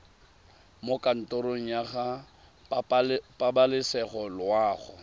mo kantorong ya pabalesego loago